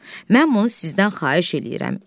Mən bunu sizdən xahiş eləyirəm.